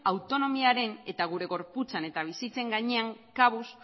autonomiaren eta gure gorputzen eta bizitzen gainean